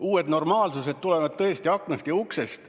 Uued normaalsused tulevad tõesti sisse aknast ja uksest.